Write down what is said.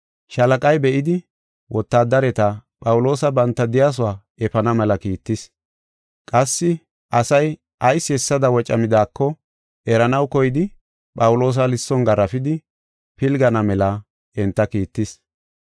Shaalaqay be7idi wotaadareti Phawuloosa banta de7iyasuwa efana mela kiittis. Qassi asay ayis hessada wocamidaako eranaw koyidi Phawuloosa lisson garaafidi pilgana mela enta kiittis.